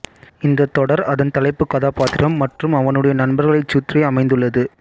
இந்த தொடர் அதன் தலைப்புக் கதாபாத்திரம் மற்றும் அவனுடைய நண்பர்களைச் சுற்றி அமைந்துள்ளது